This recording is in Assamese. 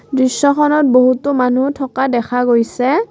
দৃশ্যখনত বহুতো মানুহ থকা দেখা গৈছে।